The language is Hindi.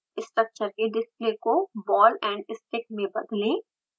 स्ट्रक्चर के डिस्प्ले को ball and stick में बदलें